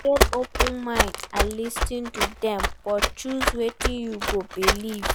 Get open mind and lis ten to dem but choose wetin you go believe